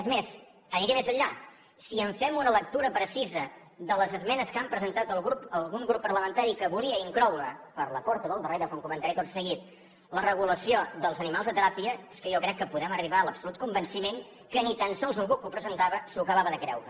és més aniré més enllà si fem una lectura precisa de les esmenes que ha presentat algun grup parlamentari que volia incloure per la porta del darrere com comentaré tot seguit la regulació dels animals de teràpia és que jo crec que podem arribar a l’absolut convenciment que ni tan sols qui ho presentava s’ho acabava de creure